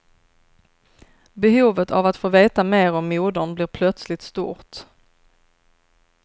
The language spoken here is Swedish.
Behovet av att få veta mer om modern blir plötsligt stort.